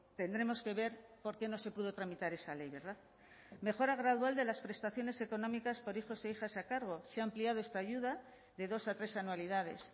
tendremos que ver por qué no se pudo tramitar esa ley verdad mejora gradual de las prestaciones económicas por hijos e hijas a cargo se ha ampliado esta ayuda de dos a tres anualidades